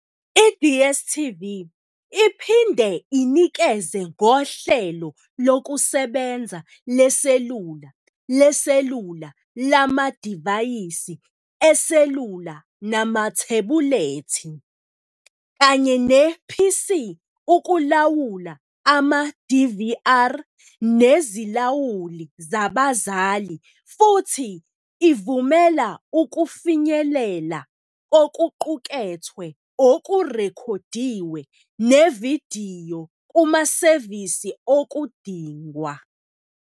I-DSTV iphinde inikeze ngohlelo lokusebenza leselula leselula lamadivayisi eselula namathebulethi, kanye ne-PC ukulawula ama-DVR nezilawuli zabazali futhi ivumela ukufinyelela kokuqukethwe okurekhodiwe nevidiyo kumasevisi okudingwa.